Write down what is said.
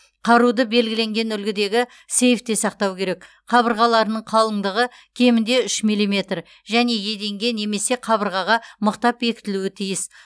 қаруды белгіленген үлгідегі сейфте сақтау керек қабырғаларының қалыңдығы кемінде үш миллиметр және еденге немесе қабырғаға мықтап бекітілуі тиіс